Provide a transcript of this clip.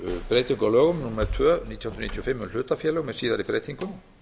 nítján hundruð níutíu og fimm um hlutafélög með síðari breytingum